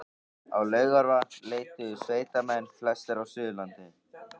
Á Laugarvatn leituðu sveitamenn, flestir af Suðurlandi